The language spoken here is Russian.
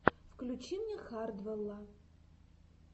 включи мне хардвелла